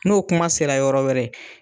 N'o kuma sera yɔrɔ wɛrɛ